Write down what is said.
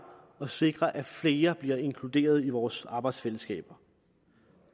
at sikre at flere bliver inkluderet i vores arbejdsfællesskaber